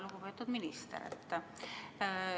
Lugupeetud minister!